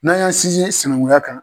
N'a y'an sinzin sinankunya kan.